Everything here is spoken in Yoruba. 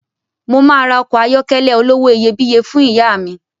Mo máa ra ọkọ̀ ayọ́kẹ́lẹ̀ olówó iyebíye fún ìyá mi